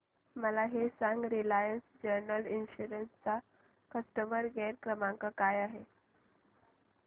मला हे सांग रिलायन्स जनरल इन्शुरंस चा कस्टमर केअर क्रमांक काय आहे